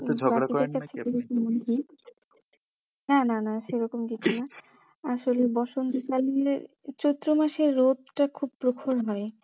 ঝগড়া করেন নাকি আপনি? না না না সেরকম কিছু না আসলে বসন্তকাল চৈত্রমাসের রোদটা খুব প্রখর হয়